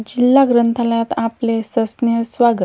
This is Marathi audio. जिल्हा ग्रंथालयात आपले सहर्ष स्वागत.